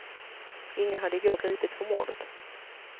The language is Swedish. Ingen hade i går gripits för mordet.